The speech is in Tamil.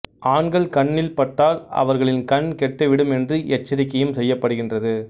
ஆண்கள் கண்ணில் பட்டால் அவர்களின் கண் கெட்டு விடும் என்று எச்சரிக்கையும் செய்யப்படுகின்றது